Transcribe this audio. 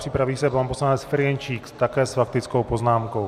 Připraví se pan poslanec Ferjenčík, také s faktickou poznámkou.